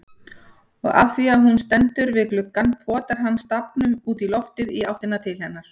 Og afþvíað hún stendur við gluggann potar hann stafnum útí loftið í áttina til hennar.